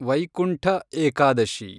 Vaikuntha Ekadashi